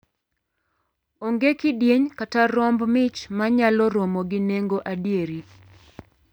Onge kidieny kata romb mich ma nyalo romo gi nengo adieri.